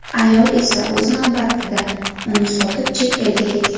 Ayol esa, o‘z navbatida, uni sotib, chet elga ketgan.